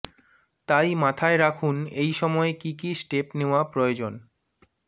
তাই মাথায় রাখুন এই সময় কী কী স্টেপ নেওয়া প্রয়োজনঃ